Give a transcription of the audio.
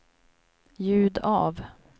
ljud av